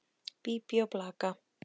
Bíbí og blaka.